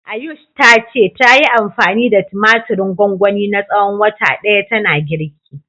Ayush ta ce, tayi anfani da tumatirin gwangwani na tsawon wata ɗaya tana girki.